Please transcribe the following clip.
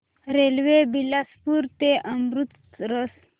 railway Bilaspur ते अमृतसर